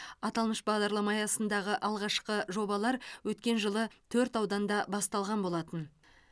аталмыш бағдарлама аясындағы алғашқы жобалар өткен жылы төрт ауданда басталған болатын